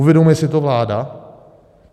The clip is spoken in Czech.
Uvědomuje si to vláda?